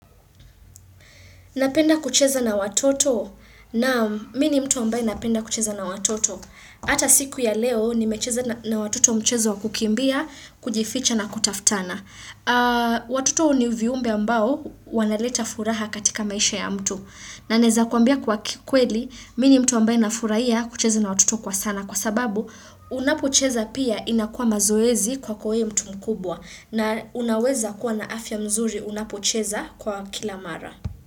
Napenda kucheza na watoto naam mi ni mtu ambaye napenda kucheza na watoto. Hata siku ya leo nimecheza na watoto mchezo wa kukimbia, kujificha na kutaftana. Watoto ni viumbe ambao wanaleta furaha katika maisha ya mtu. Na naeza kuambia kwa kikweli mi ni mtu ambaye nafurahia kucheza na watoto kwa sana. Kwa sababu unapocheza pia inakua mazoezi kwako we mtu mkubwa na unaweza kuwa na afya mzuri unapocheza kwa kila mara.